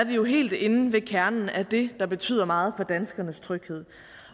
vi jo helt inde ved kernen af det der betyder meget for danskernes tryghed